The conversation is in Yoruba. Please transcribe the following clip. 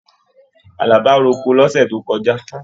Àlàbá roko l'ọsẹ tó kọjá.